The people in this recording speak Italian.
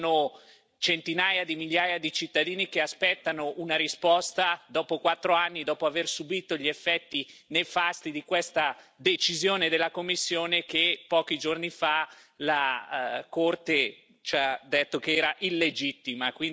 Ci sono centinaia di migliaia di cittadini che aspettano una risposta, dopo quattro anni, dopo aver subito gli effetti nefasti di questa decisione della Commissione, che pochi giorni fa il Tribunale ha definito illegittima.